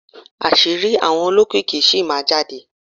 Àṣírí àwọn olókìkí sì máa hànde.